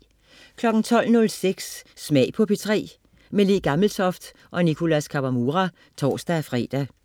12.06 Smag på P3. Le Gammeltoft/Nicholas Kawamura (tors-fre)